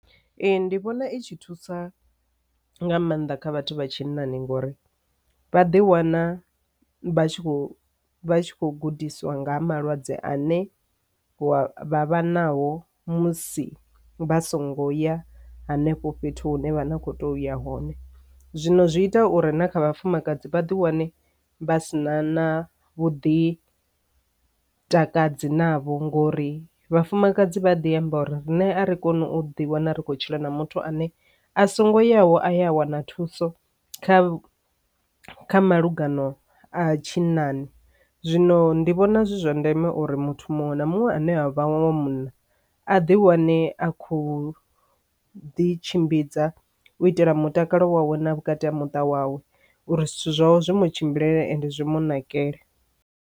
Ee, ndi vhona i tshi thusa nga maanḓa kha vhathu vha tshinnani ngori vha ḓi wana vha tshi khou vha tshi kho gudiswa nga malwadze ane vha vha nao musi vha songo ya henefho fhethu hune vha na kho to uya zwino zwi ita uri na kha vhafumakadzi vha ḓi wane vha si na na vhuḓi takadzi navho ngori vhafumakadzi vha ḓi amba uri rine ri kone u ḓi wana ri khou tshila na muthu ane a songo yavho aya a wana thuso kha kha malugana a tshinnani. Zwino ndi vhona zwi zwa ndeme uri muthu muṅwe na muṅwe ane a vhanwe wa munna a ḓi wane a khou ḓi tshimbidza u itela mutakalo wa wana vhukati ha muṱa wawe uri zwithu zwawe zwi mu tshimbilele ende zwi mu nakele.